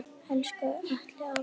Elsku Atli afi.